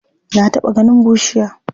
Ka taɓa ganin bushiya?